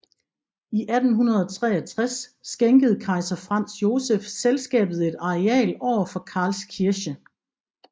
I 1863 skænkede kejser Franz Josef selskabet et areal over for Karlskirche